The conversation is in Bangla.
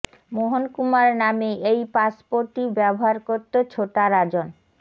মোহন কুমার নামে এই পাসপোর্টই ব্যবহার করত ছোটা রাজন